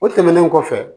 O tɛmɛnen kɔfɛ